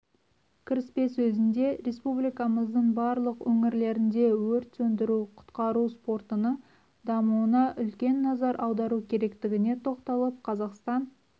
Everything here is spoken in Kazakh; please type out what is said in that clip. кіріспе сөзінде республикамыздың барлық өнірлерінде өрт сөндіру-құтқару спортының дамуына үлкен назар аудару керектігіне тоқталып қазақстан